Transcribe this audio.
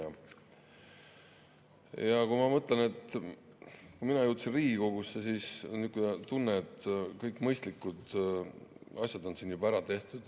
Ma mõtlen, on niisugune tunne, et kui mina jõudsin Riigikogusse, siis olid kõik mõistlikud asjad siin juba ära tehtud.